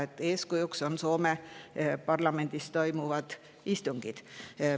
Selle eeskujuks saab võtta Soome parlamendis toimuvad istungid.